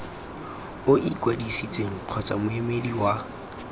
o ikwadisitseng kgotsa moemedi wa